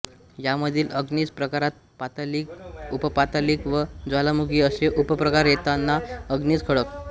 यांमधील अग्निज प्रकारात पातालिक उपपातालिक व ज्वालामुखी असे उपप्रकार येतात अग्निज खडक